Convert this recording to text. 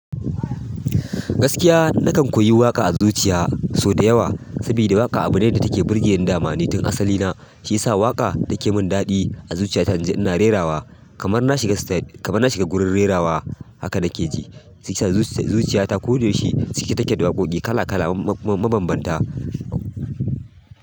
Gaskiya nakan koyi waƙa a zuciya sau da yawa, saboda waƙa abu ne da take burge ni dama. Ni tin asali na shi ya sa waƙa ta ke mun daɗi a zuciya ta. In ji ina rerawa kamar na shiga, kamar na shiga gurin rerawa haka nake ji. Zuciya ta ko da yaushe cike take da waƙoƙi kala kala mabanbanta.